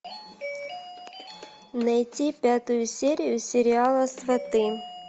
найти пятую серию сериала сваты